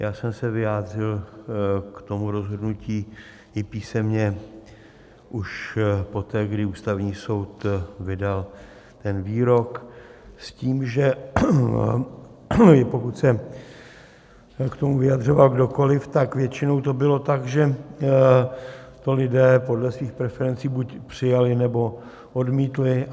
Já jsem se vyjádřil k tomu rozhodnutí i písemně už poté, kdy Ústavní soud vydal ten výrok s tím, že pokud se k tomu vyjadřoval kdokoliv, tak většinou to bylo tak, že to lidé podle svých preferencí buď přijali, nebo odmítli.